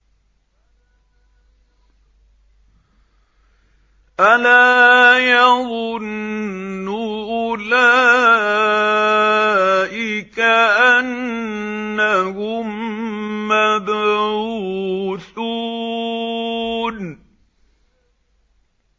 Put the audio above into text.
أَلَا يَظُنُّ أُولَٰئِكَ أَنَّهُم مَّبْعُوثُونَ